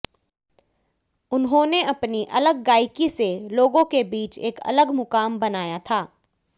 उन्होंने अपनी अलग गायकी से लोगों के बीच एक अलग मुकाम बनाया था